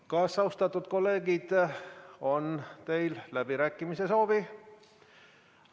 Kas, austatud kolleegid, teil on läbirääkimise soovi?